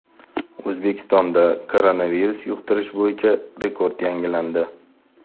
O‘zbekistonda koronavirus yuqtirish bo‘yicha rekord yangilandi.